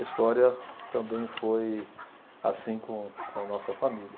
A história também foi assim com com a nossa família.